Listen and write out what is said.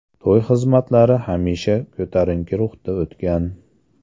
To‘y xizmatlari hamisha ko‘tarinki ruhda o‘tgan.